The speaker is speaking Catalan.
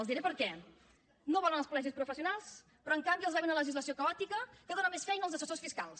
els diré per què no volen els col·legis professionals però en canvi avalen una legislació caòtica que dona més feina als assessors fiscals